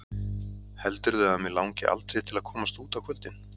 Heldurðu að mig langi aldrei til að komast út á kvöldin?